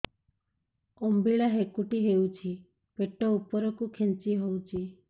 ଅମ୍ବିଳା ହେକୁଟୀ ହେଉଛି ପେଟ ଉପରକୁ ଖେଞ୍ଚି ହଉଚି